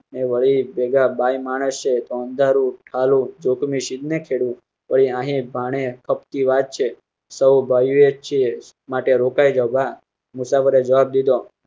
ને વળી ભેગા બાઈ માણસ છે તો અંધારા નું ઠાલું જોખમ શીદ ને ખેડ ભાણે ખપતી વાત છે. માટે રોકાઈ જવા મુસાફરે જવાબ દીધો.